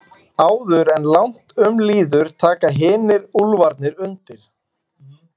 Áður en langt um líður taka hinir úlfarnir undir.